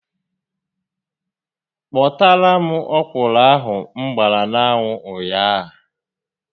Kpotara m ọkwụrụ ahụ m gbara n'anwụ ụnyaahụ